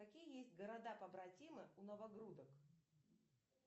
какие есть города побратимы у новогрудок